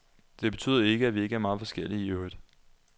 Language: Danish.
Det betyder ikke, at vi ikke er meget forskellige i øvrigt.